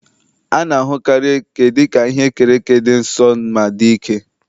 A na-ahụkarị eke dị ka ihe e kere eke dị nsọ ma dị ike.